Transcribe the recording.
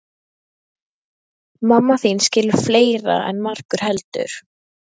Mamma þín skilur fleira en margur heldur.